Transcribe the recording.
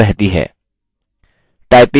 typing फिर से शुरू करें